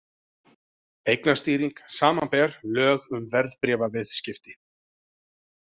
Eignastýring, samanber lög um verðbréfaviðskipti.